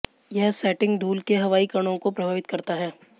यह सेटिंग धूल के हवाई कणों को प्रभावित करता है